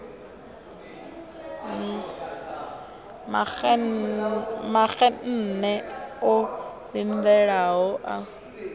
maxenn e o lindelaho u